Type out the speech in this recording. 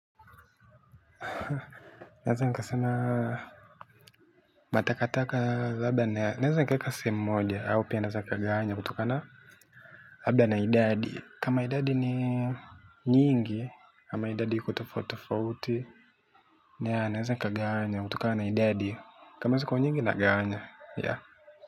Naeza sema na takataka naeza eka sehemu moja au labda naeza nikagawanya kutokana labda na idadi. Kama idadi ni nyingi. Kama idadi ikutafotafoti na nesan kaganya kutukana idadi. Kama siku nyingi nagawanya ya.